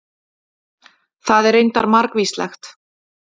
Það er reyndar margvíslegt.